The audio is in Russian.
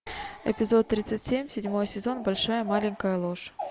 эпизод тридцать семь седьмой сезон большая маленькая ложь